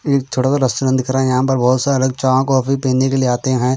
एक छोटा सा रेस्टोरेंट दिख रहा हैं यहाँ पर बहुत सारे चाक कॉफ़ी पीने के लिए आते हैं।